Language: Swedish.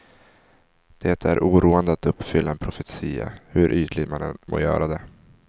Det är oroande att uppfylla en profetia, hur ytligt man än må göra det.